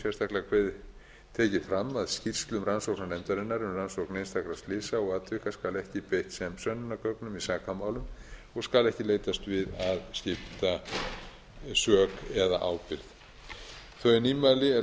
sérstaklega tekið fram að skýrslum rannsóknarnefndarinnar um rannsókn einstakra slysa og atvika skal ekki beitt sem sönnunargögnum í sakamálum og skal ekki leitast við að skipta sök eða ábyrgð þau nýmæli er